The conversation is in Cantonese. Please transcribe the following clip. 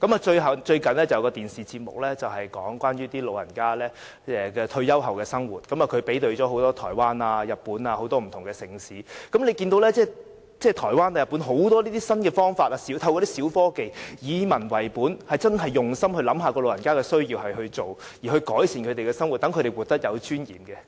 最近有一個電視節目是有關長者退休後的生活，對比了台灣、日本及很多不同的城市，可以看到台灣人和日本人透過很多新方法和小科技，以民為本，真的用心為長者設想，按其需要提供設施，以改善他們的生活，讓他們活得有尊嚴。